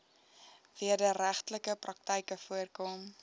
wederregtelike praktyke voorkom